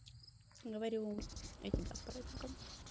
говорю этим и тебя с праздником